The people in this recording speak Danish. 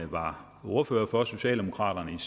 var ordfører for socialdemokraterne